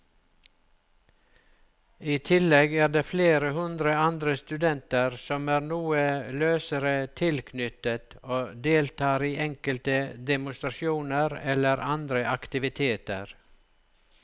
I tillegg er det flere hundre andre studenter som er noe løsere tilknyttet og deltar i enkelte demonstrasjoner eller andre aktiviteter.